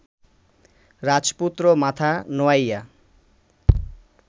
রাজপুত্র মাথা নোয়াইয়া